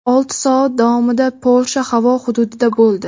olti soat davomida Polsha havo hududida bo‘ldi.